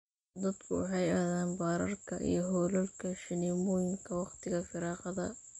Dadku waxay aadaan baararka iyo hoolalka shineemooyinka wakhtiga firaaqada.